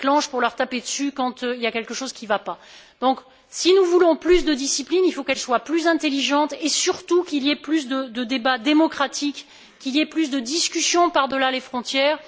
pour leur taper dessus quand quelque chose ne va pas. Si nous voulons plus de discipline, il faut qu'elle soit plus intelligente, et surtout qu'il y ait plus de débats démocratiques et plus de discussions par delà les frontières.